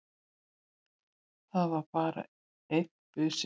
Það var bara einn busi!